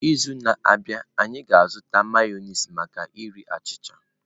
N'izu na-abịa, anyị ga-azụta Mayonezi maka iri achịcha.